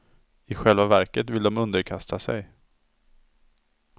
I själva verket vill de underkasta sig.